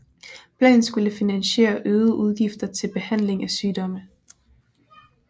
Planen skulle finansiere øgede udgifter til behandling af sygdomme